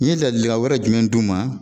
N ye ladilikan wɛrɛ jumɛn d'u ma.